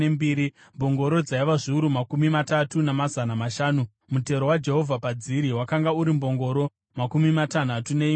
mbongoro dzaiva zviuru makumi matatu namazana mashanu, mutero waJehovha padziri wakanga uri mbongoro makumi matanhatu neimwe chete;